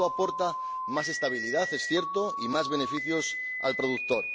Esto aporta más estabilidad —es cierto— y más beneficios al productor.